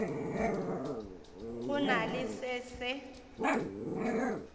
go na le se se